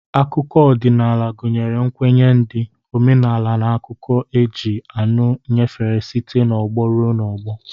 Akụkọ odịnaala gụnyere nkwenye ndị, omenala n'akuko e ji ọnụ nyefee site n'ọgbọ rue n'ọgbọ.